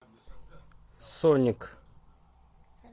соник